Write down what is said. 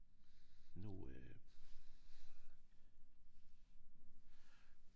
Nu øh